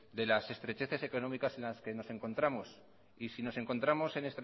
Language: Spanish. de las estrecheces económicas en las que nos encontramos y si nos encontramos en